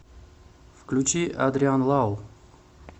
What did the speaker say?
включи адриан лау